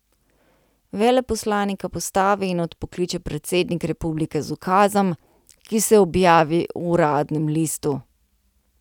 Veleposlanika postavi in odpokliče predsednik republike z ukazom, ki se objavi v uradnem listu.